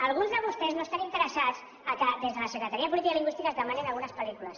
alguns de vostès no estan interessats que des de la secretaria de política lingüística es demanin algunes pel·lícules